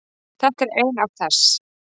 Þetta er ein af þess